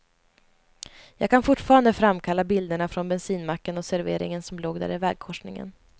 Jag kan fortfarande framkalla bilderna från bensinmacken och serveringen som låg där i vägkorsningen.